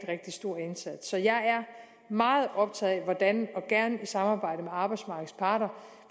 rigtig stor indsats så jeg er meget optaget af hvordan og gerne i samarbejde med arbejdsmarkedets parter